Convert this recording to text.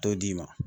T'o d'i ma